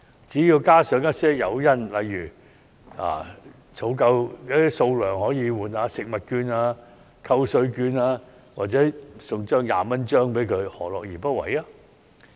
只要加上一些誘因，例如儲夠某數量便可以換領食物券、扣稅券或一張20元紙幣，何樂而不為？